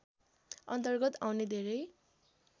अन्तर्गत आउने धेरै